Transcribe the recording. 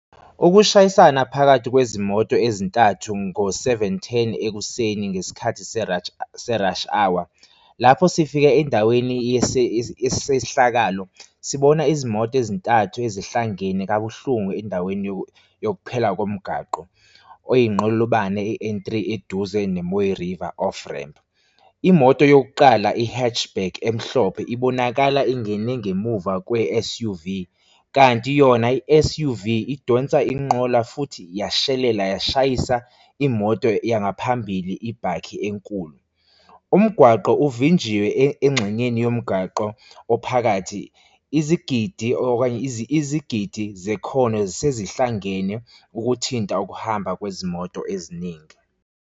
Ukushayisana phakathi kwezimoto ezintathu ngo-seven ten ekuseni ngesikhathi se-rush hour. Lapho sifika endaweni yesehlakalo, sibona izimoto ezintathu ezihlangene kabuhlungu endaweni yokuphela komgwaqo oyinqolobane ye-N three eduze ne Mooiriver, offramp. Imoto yokuqala i-hatch back emhlophe ibonakala ingene ngemuva kwe-S_U_V, kanti yona i-S_U_V idonsa inqola futhi yashelela yashayisa imoto yangaphambili ibhakhi enkulu. Umgwaqo uvinjiwe engxenyeni yomgwaqo ophakathi izigidi okanye izigidi zekhono ezihlangene, ukuthinta ukuhamba kwezimoto eziningi.